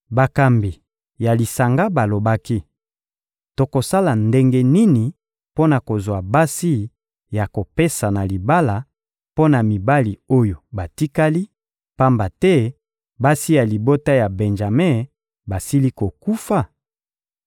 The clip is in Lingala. Bakambi ya lisanga balobaki: «Tokosala ndenge nini mpo na kozwa basi ya kopesa na libala mpo na mibali oyo batikali, pamba te basi ya libota ya Benjame basili kokufa?»